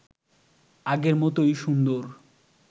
আগের মতই সুন্দর